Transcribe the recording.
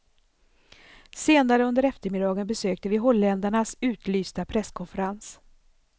Senare under eftermiddagen besökte vi holländarnas utlysta presskonferens.